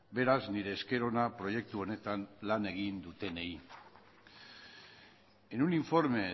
beraz nire esker ona proiektu honetan lan egin dutenei en un informe